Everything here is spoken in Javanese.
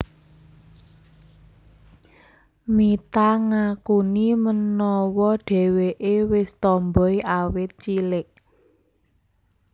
Mitha ngakuni menawa dheweké wis tomboy awit cilik